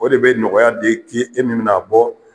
O de be nɔgɔya de ke e ni n'a bɔ